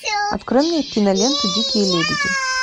открой мне киноленту дикие лебеди